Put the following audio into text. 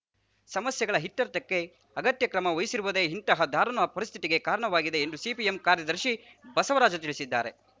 ಸಮಸ್ಯೆಗಳ ಇತ್ಯರ್ಥಕ್ಕೆ ಅಗತ್ಯ ಕ್ರಮ ವಹಿಸದಿರುವುದೇ ಇಂತಹ ದಾರುಣ ಪರಿಸ್ಥಿತಿಗೆ ಕಾರಣವಾಗಿದೆ ಎಂದು ಸಿಪಿಎಂ ಕಾರ್ಯದರ್ಶಿ ಬಸವರಾಜ ತಿಳಿಸಿದರು